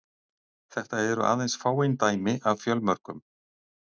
Þetta eru aðeins fáein dæmi af fjölmörgum.